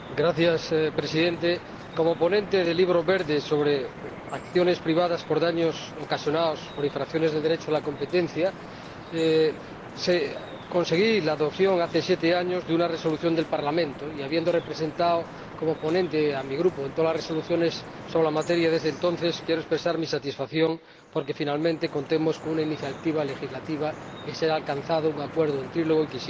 Señor Presidente, como ponente del Libro Verde que abordaba las acciones privadas por daños ocasionados por infracciones del Derecho de la competencia, conseguí la aprobación, hace siete años, de una Resolución del Parlamento, y habiendo representado como ponente a mi Grupo en todas las resoluciones sobre la materia desde entonces, quiero expresar mi satisfacción porque finalmente contemos con una iniciativa legislativa y se haya alcanzado un acuerdo en diálogo a tres bandas.